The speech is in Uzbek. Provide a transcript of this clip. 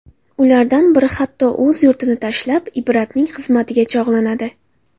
Ulardan biri hatto o‘z yurtini tashlab, Ibratning xizmatiga chog‘lanadi.